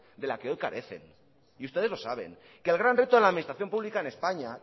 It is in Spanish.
de la que hoy carecen ustedes lo saben el gran reto de la administración pública en españa